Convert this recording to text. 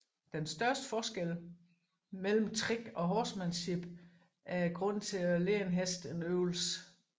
Den største forskel mellem trick og horsemanship er grunden til at lære en hest en øvelse